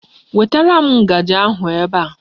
Wetara m ngaji ahụ ebe a.